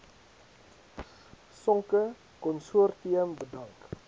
sonke konsortium bedank